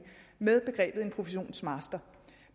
med begrebet en professionsmaster